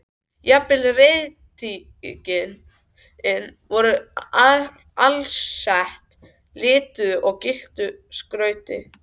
Jafnvel reiðtygin voru alsett lituðu og gylltu skrauti.